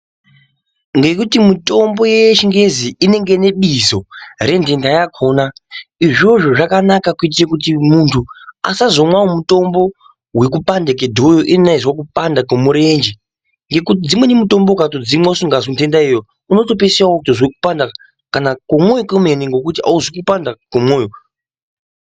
Ngekuti mitombo yechingezi inenge inebizo rententa yakona izvozvo zvakanaka kuitira muntu azomwawo mutombo wekupanda kwedhoyo iyena eizwa kupanda kwemurenje ngekuti dzmweni mutombo ukatodzimwa uzikazwi ntenta iyoyo unotopedzisira wozwa kupanda kana kwemwoyo kwemenemene ngekuti auzwi kupanda kwemwoyo.